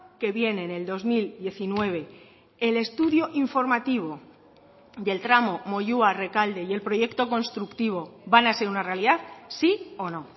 que viene en el dos mil diecinueve el estudio informativo del tramo moyua rekalde y el proyecto constructivo van a ser una realidad sí o no